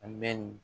A bɛ nin